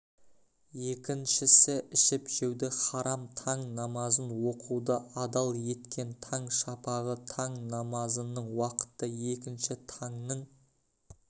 екіншісі ішіп-жеуді харам таң намазын оқуды адал еткен таң шапағы таң намазының уақыты екінші таңның